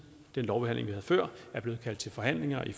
den lovbehandling vi havde før er blevet kaldt til forhandlinger i